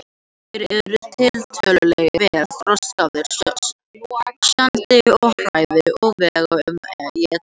Þeir eru tiltölulega vel þroskaðir, sjáandi og hærðir og vega um eitt kíló.